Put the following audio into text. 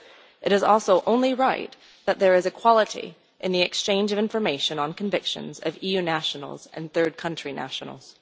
It is also only right that there is equality in the exchange of information on convictions of EU nationals and third country nationals.